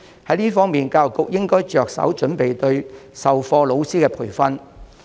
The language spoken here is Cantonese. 在這方面，教育局應着手準備對授課老師進行培訓。